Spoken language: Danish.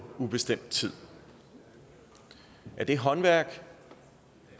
ubestemt tid er det håndværk